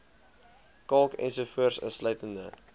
kalk ens insluitende